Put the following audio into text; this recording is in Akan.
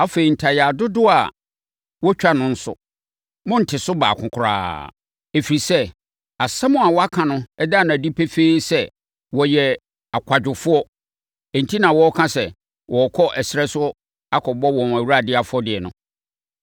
Afei, ntayaa dodoɔ a wɔtwa no nso, monnte so baako koraa, ɛfiri sɛ, asɛm a wɔaka no da no adi pefee sɛ, wɔyɛ akwadwofoɔ enti na wɔreka sɛ wɔrekɔ ɛserɛ so akɔbɔ wɔn Awurade afɔdeɛ no.